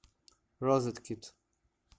розеткед